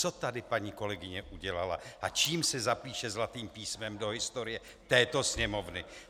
Co tady paní kolegyně udělala a čím se zapíše zlatým písmem do historie této Sněmovny?